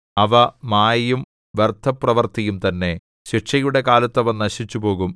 അവ മായയും വ്യർത്ഥപ്രവൃത്തിയും തന്നെ ശിക്ഷയുടെ കാലത്ത് അവ നശിച്ചുപോകും